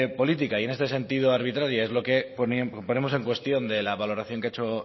política y en este sentido arbitraria es lo que ponemos en cuestión de la valoración que ha hecho